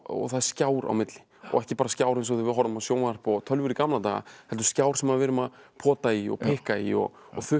það er skjár á milli ekki skjár eins og þegar við horfðum á sjónvarp og tölvur í gamla daga heldur skjár sem við erum að pota í og pikka í og